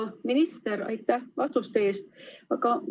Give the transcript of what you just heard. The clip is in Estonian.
Hea minister, aitäh vastuste eest!